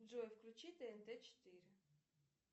джой включи тнт четыре